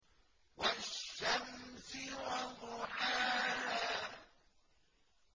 وَالشَّمْسِ وَضُحَاهَا